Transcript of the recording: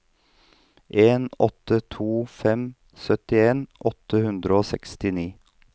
en åtte to fem syttien åtte hundre og sekstini